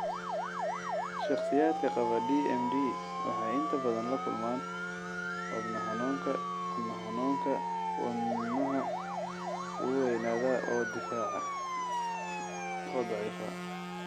Shakhsiyaadka qaba DMD waxay inta badan la kulmaan wadna xanuunka wadna xanuunka (wadnaha wuu weynaadaa oo daciifaa).